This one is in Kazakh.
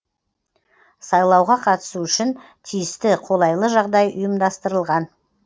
сайлауға қатысу үшін тиісті қолайлы жағдай ұйымдастырылған